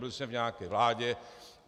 Byl jsem v nějaké vládě.